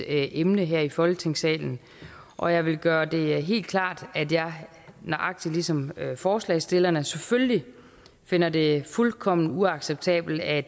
emne her i folketingssalen og jeg vil gøre det helt klart at jeg nøjagtig ligesom forslagsstillerne selvfølgelig finder det fuldkommen uacceptabelt at